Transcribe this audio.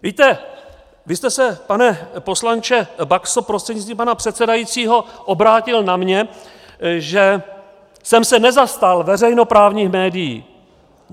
Víte, vy jste se, pane poslanče Baxo prostřednictvím pana předsedajícího, obrátil na mě, že jsem se nezastal veřejnoprávních médií.